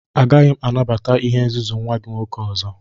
Agaghị m anabata ihe nzuzu nwa gị nwoke ọzọ!